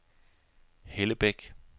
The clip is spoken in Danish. Hellebæk